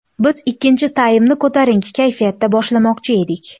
Biz ikkinchi taymni ko‘tarinki kayfiyatda boshlamoqchi edik.